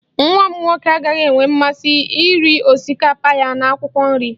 Nwa m nwoke agaghị enwe mmasị iri osikapa ya na akwụkwọ nri